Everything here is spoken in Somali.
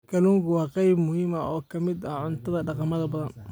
Kalluunku waa qayb muhiim ah oo ka mid ah cuntada dhaqamo badan.